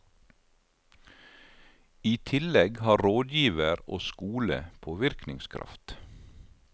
I tillegg har rådgiver og skole påvirkningskraft.